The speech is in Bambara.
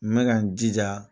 N bɛ ka n jija.